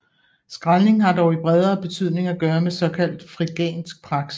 Skraldning har dog i bredere betydning at gøre med såkaldt frigansk praksis